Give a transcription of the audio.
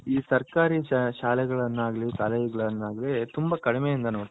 ಈ ಸರ್ಕಾರೀ ಶಾಲೆಗಳನಗ್ಲಿ ಕಾಲೇಜ್ ತುಂಬಾ ಕಡಿಮೆ ಇಂದ